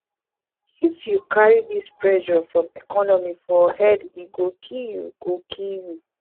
if you carry dis pressure from economy for head e go kill you go kill you